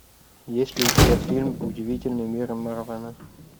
есть ли у тебя фильм удивительный мир марвена